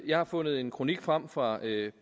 jeg har fundet en kronik frem fra